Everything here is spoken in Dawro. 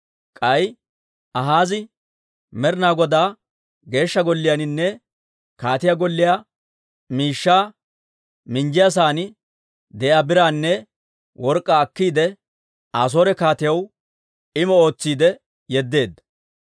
K'ay Akaazi Med'ina Godaa Geeshsha Golliyaaninne kaatiyaa golliyaa miishshaa minjjiyaasan de'iyaa biraanne work'k'aa akkiide, Asoore kaatiyaw immo ootsiide yeddeedda.